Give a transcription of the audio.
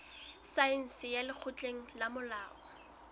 saense ya lekgotleng la molao